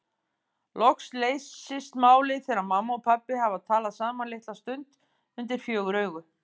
Loks leysist málið þegar mamma og pabbi hafa talað saman litla stund undir fjögur augu.